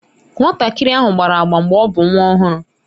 Nwatakịrị ahụ gbara agba mgbe ọ bụ nwa ọhụrụ.